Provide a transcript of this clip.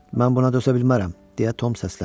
Mən buna dözə bilmərəm, deyə Tom səsləndi.